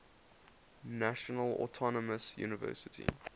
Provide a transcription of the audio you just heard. national autonomous university